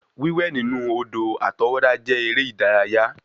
Wiwẹ̀ nínú odò àtọwọ́dá jẹ́ eré ìdárayá